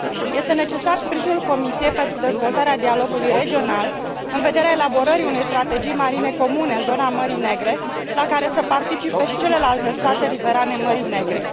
Este necesar sprijinul Comisiei pentru dezvoltarea dialogului regional, în vederea elaborării unei strategii marine comune în zona Mării Negre, la care să participe și celelalte state riverane Mării Negre.